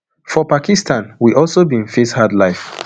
for pakistan we also bin face hard life